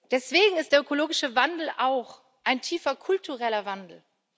Deswegen ist der ökologische Wandel auch ein tiefer kultureller Wandel.